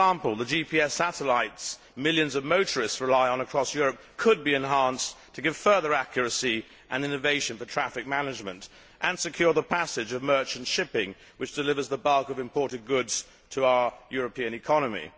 For example, the GPS satellites that millions of motorists rely on across Europe could be enhanced to give further accuracy and innovation for traffic management and secure the passage of merchant shipping, which delivers the bulk of imported goods to our European economy.